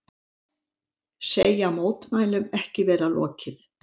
Segja mótmælum ekki vera lokið